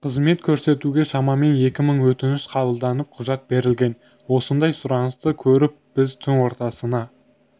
қызмет көрсетуге шамамен екі мың өтініш қабылданып құжат берілген осындай сұранысты көріп біз түн ортасына